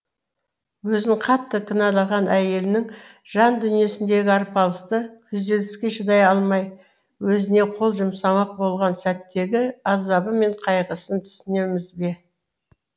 өзін қатты кінәлаған әйелінің жандүниесіндегі арпаласты күзеліске шыдай алмай өзіне қол жұмсамақ болған сәттегі азабы мен қайғысын түсінеміз бе